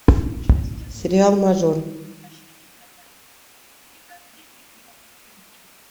сериал мажор